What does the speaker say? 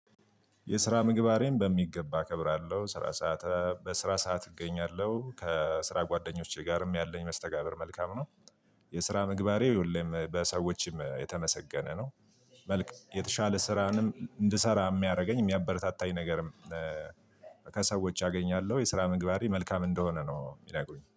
የስራ ምግባሬን በሚገባ አከብራለሁ ስራ ሰዓት በስራ ሰዓት እገኛለሁ ከስራ ጓደኞቼ ጋርም ያለኝ መስተጋብር መልካም ነው። የስራ ምግባሬ ሁሌም በሰዎችም የተመሰገነ ነው። መልክ የተሻለ ስራንም እንድሰራ የሚያደርገኝ የሚያበረታታኝ ነገርም ከሰዎች አገኛለሁ የስራ ምግባሬ መልካም እንደሆነ ነው የሚነግሩኝ